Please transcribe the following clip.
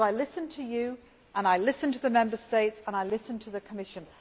I listen to you and I listen to the Member States and I listen to the Commission.